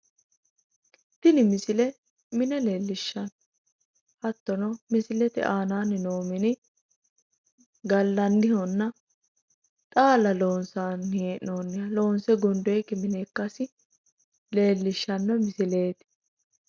tini misile mine leellishshanno hattono misilete aanaanni no mini xaalla loonsanni hee'noonnihannna loonse gundoonnikkiha leellishshanno misileeti,